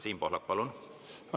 Siim Pohlak, palun!